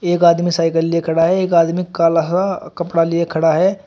एक आदमी साइकल लिए खड़ा है एक आदमी कलहा कपड़ा लिए खड़ा है।